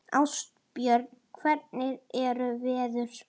Ástbjörn, hvernig er veðurspáin?